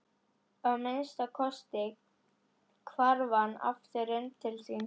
Að minnsta kosti hvarf hann aftur inn til sín.